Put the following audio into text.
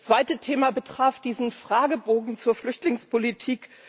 Das zweite Thema betraf diesen Fragebogen zur Flüchtlingspolitik.